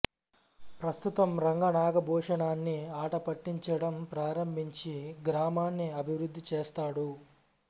ప్రస్తుతం రంగా నాగభూషణాన్ని ఆటపట్టించడం ప్రారంభించి గ్రామాన్ని అభివృద్ధి చేస్తాడు